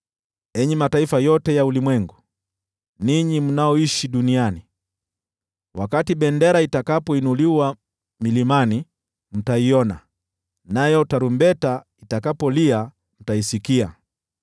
Enyi mataifa yote ya ulimwengu, ninyi mnaoishi duniani wakati bendera itakapoinuliwa milimani, mtaiona, nayo tarumbeta itakapolia, mtaisikia.